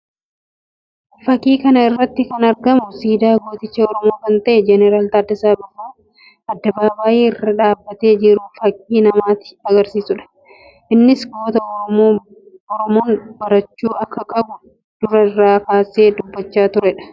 Fakkii kana irratti kan argamu siidaa gootich Oromoo kan ta'e Jeneraal Taaddasaa Birruu addabaabayii irra dhaabbatee jiru fakkii namatti agarsiisuudha. Innis goota Oromoon barachuu akka qabu dura irraa kaasee dubbachaa turee dha.